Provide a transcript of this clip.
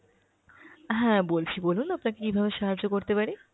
হ্যাঁ বলছি বলুন আপনাকে কীভাবে সাহায্য করতে পারি?